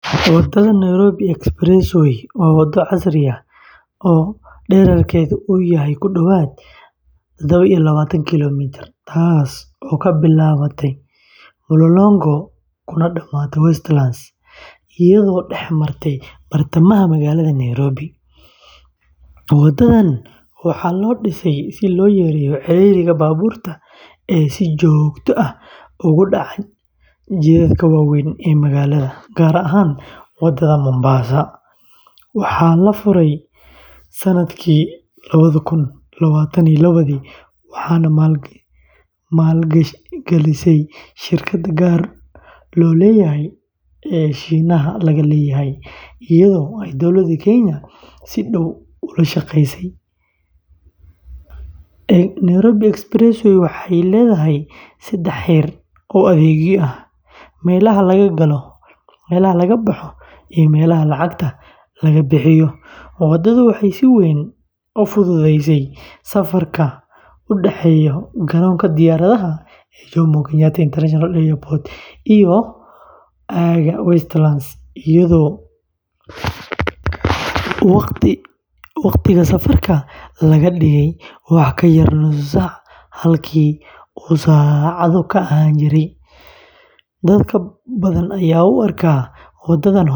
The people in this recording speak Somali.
Waddada Nairobi Expressway waa waddo casri ah oo dhererkeedu yahay ku dhawaad lawatan iyo tadawa kiiloomitir, taasoo ka bilaabanta Mlolongo kuna dhammaata Westlands, iyadoo dhex martay bartamaha magaalada Nairobi. Waddadan waxaa loo dhisay si loo yareeyo ciriiriga baabuurta ee si joogto ah uga dhaca jidadka waaweyn ee magaalada, gaar ahaan Wadada Mombasa. Waxaa la furay sannadkii lawadha kun lwaatan iyo lawadhii waxaana maalgashay shirkad gaar loo leeyahay oo Shiinaha laga leeyahay, iyadoo ay Dowladda Kenya si dhow ula shaqeysay. Nairobi Expressway waxay leedahay saddex heer oo adeegyo ah: meelaha laga galo, meelaha laga baxo, iyo meelo lacagta laga bixiyo. Waddadu waxay si weyn u fududeysay safarka u dhaxeeya garoonka diyaaradaha ee Jomo Kenyatta International Airport iyo aagga Westlands, iyadoo waqtiga safarka laga dhigay wax ka yar nus saac halkii uu saacado ka ahaan jiray. Dad badan ayaa u arka waddadan horumar weyn.